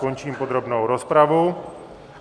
Končím podrobnou rozpravu.